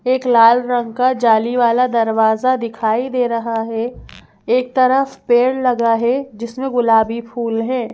एक लाल रंग का जाली वाला दरवाजा दिखाई दे रहा है एक तरफ पेड़ लगा है जिसमें गुलाबी फूल हैं।